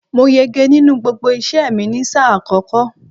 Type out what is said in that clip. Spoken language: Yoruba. Mo yege nínú gbogbo iṣẹ́ẹ̀ mi ni sáà àkọ́kọ́.